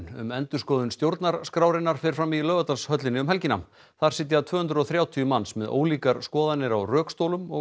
um endurskoðun stjórnarskrárinnar fer fram í Laugardalshöllinni um helgina þar sitja tvö hundruð og þrjátíu manns með ólíkar skoðanir á rökstólum og